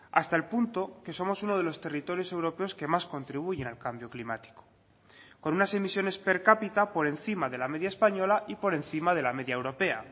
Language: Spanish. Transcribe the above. hasta el punto que somos uno de los territorios europeos que más contribuyen al cambio climático con unas emisiones per cápita por encima de la media española y por encima de la media europea